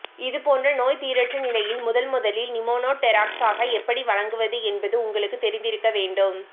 இதுபோன்ற நோய்தீரற்ற நிலையில் முதன்முதலில் நிமோனோடெராக்சாக எப்படி வழங்குவது என்பது உங்களுக்குத் தெரிந்திருக்க வேண்டும்